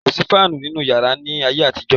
Kò sí fáànù nínú yàrá ni ayé àtijọ́.